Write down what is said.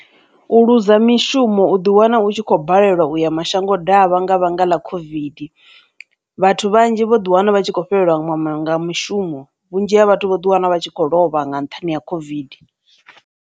U luza mishumo u ḓi wana u tshi kho balelwa uya mashango davha nga vhanga ḽa COVID. Vhathu vhanzhi vho ḓi wana vha tshi khou fhelelwa nga mushumo vhunzhi ha vhathu vho ḓi wana vha tshi khou lovha nga nṱhani ha COVID.